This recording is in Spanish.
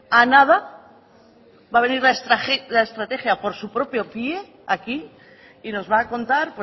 a nada va a venir la estrategia por su propio pie aquí y nos va a contar